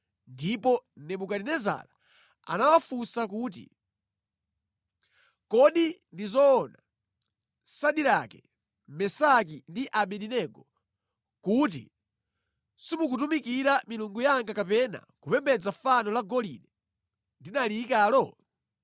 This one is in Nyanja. ndipo Nebukadinezara anawafunsa kuti, “Kodi ndi zoona, Sadirake, Mesaki ndi Abedenego, kuti simukutumikira milungu yanga kapena kupembedza fano la golide ndinaliyikalo?